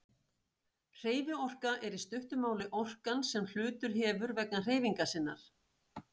Hreyfiorka er í stuttu máli orkan sem hlutur hefur vegna hreyfingar sinnar.